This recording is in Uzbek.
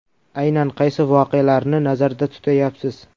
Aynan qaysi voqealarni nazarda tutayapsiz?